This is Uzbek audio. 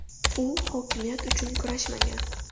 U hokimiyat uchun kurashmagan.